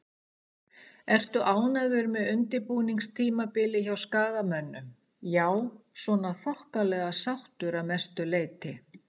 Ertu ánægður með undirbúningstímabilið hjá Skagamönnum? Já svona þokkalega sáttur að mestu leiti.